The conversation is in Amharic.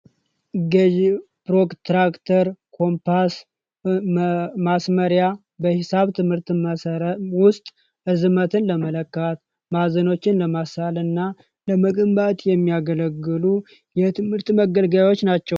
ረጅም ፕሮትራክተር ፣ኮምፓስ ፣ማስመሪያ በሂሳብ ትምህርት ውስጥ ርዝመትን ለመለካት ፣ማዕዘኖችን ለመሳል እና ለመገንባት የሚያገለግሉ የትምህርት መገልገያዎች ናቸው።